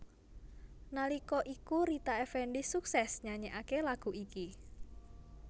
Nalika iku Rita Effendy suksès nyanyèkaké lagu iki